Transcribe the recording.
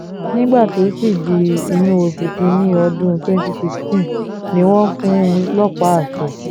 nígbà tó sì di inú oṣù kìn-ín-ní ọdún twenty sixteen ni wọ́n fún un lọ́pá àṣẹ